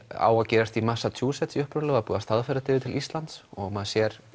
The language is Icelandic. á að gerast í Massachusetts upprunalega búið að staðfæra hana til Íslands og maður sér